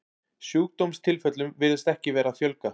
Sjúkdómstilfellum virðist ekki vera að fjölga.